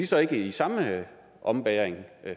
så ikke i samme ombæring